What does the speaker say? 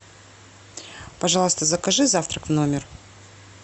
пожалуйста закажи завтрак в номер